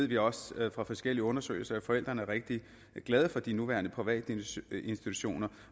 vi også fra forskellige undersøgelser at forældrene er rigtig glade for de nuværende privatinstitutioner